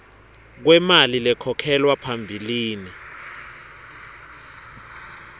kwemali lekhokhelwa phambilini